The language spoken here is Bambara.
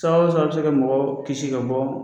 Sabuya wo sabuya bi se ka mɔgɔ kisi ka bɔ.